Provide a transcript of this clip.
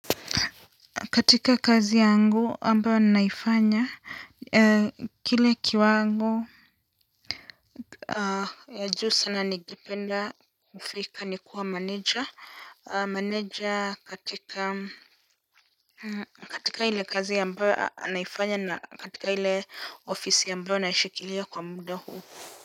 Katika kazi yangu ambayo naifanya kile kiwango cha juu sana ningependa kufika ni kuwa manager manager katika katika ile kazi ambayo naifanya na katika ile ofisi ambayo naishikilia kwa muda huu.